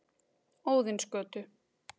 Óðinsgötu